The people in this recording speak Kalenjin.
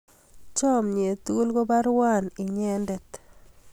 chamiet tugul ko baruan inyendet